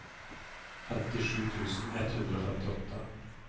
femtisju tusen ett hundre og femtiåtte